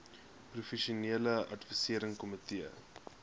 professionele adviserende komitee